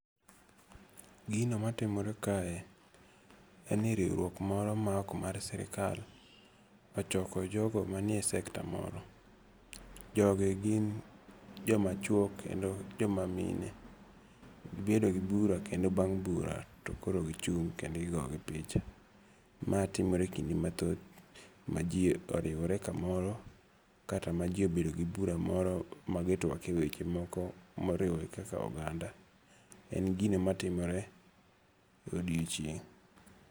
Gino matimore kae en ni riwruok moro ma ok mar sirikal ochoko jogo manie sector moro. Jogi gin joma chuo kendo joma mine. Gibedo gi bura kendo bang' bura to koro gichung' kendo igo gi picha. Ma timore e kinde mathoth ma ji oriwore kamoro kata ma ji obedo gi bura moro ma gitwak e weche moko moriwogi kaka oganda. En gino matimore e odiochieng'.